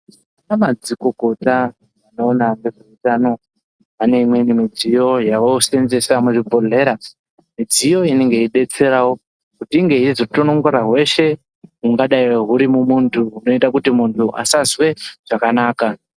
Ana madziikokota anoona ngezve utano ane imweni midziyo yavoseenzesa muzvibhehleya midziyo inenge ichibetserawo kuti inge yeizotonongora hweshe hungadai huri mumuntu, hunoite kuti muntu asazwe zvakanaka.